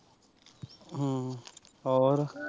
ਹਮ ਹੋਰ।